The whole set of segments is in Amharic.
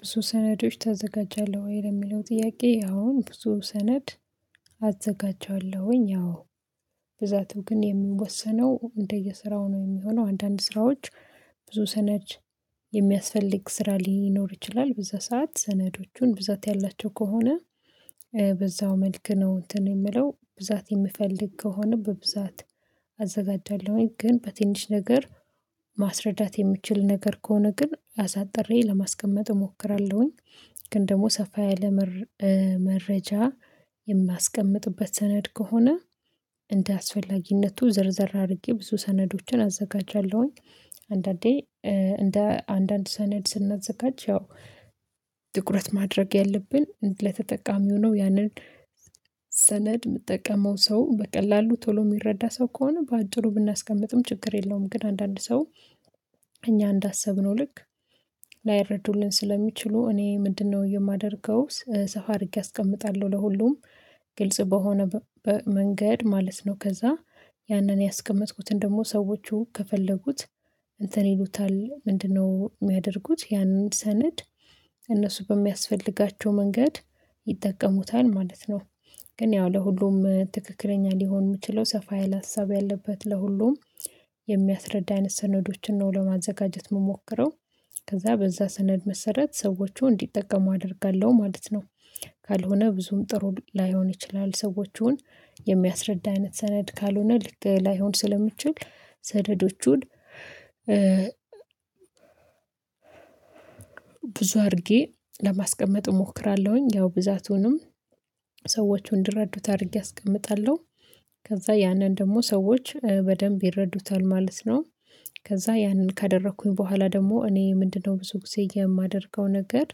ብዙ ሰነዶች ታዘጋጃለህ ወይ? ለሚለው ጥያቄ አሁን ብዙ ሰነድ አዘጋጃለሁኝ አዎ ብዛቱ ግን የምንወሰነው እንደየሥራው ነው የሚሆነው አንዳንድ ስራዎች ብዙ ሰነድ የሚያስፈልግ ስራ ሊኖር ይችላል በዛ ሰዓት ሰነዶቹን ብዛት ያላቸው ከሆነ በዛ መልክ ነው እንትን የምለው ብዛት የምፈልግ ከሆነ በብዛት አዘጋጃለሁኝ ግን በትንሽ ነገር ማስረዳት የምችል ነገር ከሆነ ግን አሳጥሬ ለማስቀመጥ እሞክራለሁኝ ግን ደግሞ ሰፋ ያለ መረጃ የማስቀምጥበት ሰነድ ከሆነ እንደአስፈላጊነቱ ዘርዘር አድርጌ ብዙ ሰነዶችን አዘጋጃለሁኝ አንዳንዴ እንደ አንዳንድ ሰነድ ስናዘጋጅ ያው ጥኩረት ማድረግ ያለብን ለተጠቃሚ ሆኖ ያንን ሰነድ የምጠቀመው ሰው በቀላሉ ቶሎ የሚረዳ ሰው ከሆነ በአጭሩ ብናስቀምጥም ችግር የለውም ግን አንዳንድ ሰው እኛ እንዳሰብነው ልክ ላይረዱልን ስለሚችሉ እኔ ምንድነው የማደርገው ሰፋ አድርጌ አስቀምጣለሁ ለሁሉም ግልጽ በሆነ መንገድ ማለት ነው ከዛ ያንን ያስቀመጥኩትን ደግሞ ሰዎቹ ከፈለጉት እንትን ይሉታል ምንድነው የሚያደርጉት ያንን ሰነድ እነሱ በሚያስፈልጋቸው መንገድ ይጠቀሙታል ማለት ነው ግን ያው ለሁሉም ትክክለኛ ሊሆን የምችለው ሰፋ ያለ ሀሳብ ያለበት ለሁሉም የሚያስረዳ አይነት ሰነዶችን ነው ለማዘጋጀት የምሞክረው ከዛ በዛ ሰነድ መሰረት ሰዎቹ እንዲጠቀሙ አደርጋለሁ ማለት ነው ካልሆነ ብዙም ጥሩ ላይሆን ይችላል ሰዎችን የሚያስረዳ አይነት ሰነድ ካልሆነ ልክ ላይሆን ስለሚችል ሰነዶቹን ብዙ አድርጌ ለማስቀመጥ እሞክራለሁኝ ያው ብዛቱንም ሰዎቹ እንዲረዱት አድርጌ አስቀምጣለሁ ከዛ ያንን ደግሞ ሰዎች በደንብ ይረዱታል ማለት ነው ከዛ ያንን ካደረኩኝ በኋላ ደግሞ እኔ ምንድነው ብዙ ጊዜ የማደርገው ነገር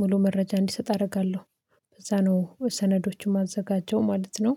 ሙሉ መረጃ እንዲሰጥ አደርጋለሁ በዛ ነው ሰነዶችን የማዘጋጀው ማለት ነው